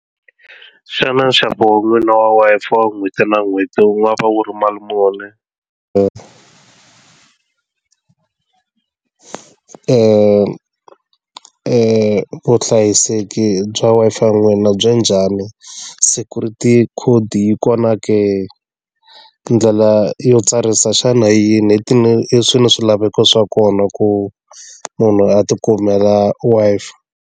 Xana nxavo wa n'wina Wi-Fi wa n'hweti na n'hweti wu nga va wu ri mali muni vuhlayiseki bya Wi-Fi n'wina byi njhani security khodi yi kona ke ndlela yo tsarisa xana yini swi ni swilaveko swa kona ku munhu a ti kumela Wi-Fi.